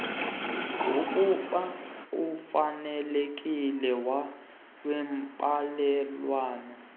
kumba ofanelekileyo wembalelwano